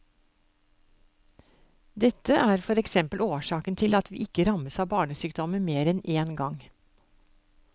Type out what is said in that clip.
Dette er for eksempel årsaken til at vi ikke rammes av barnesykdommer mer enn én gang.